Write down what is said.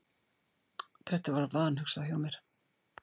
Þetta var vanhugsað hjá mér.